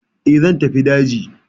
E, zan tafi daji.